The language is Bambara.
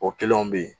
O kelenw be ye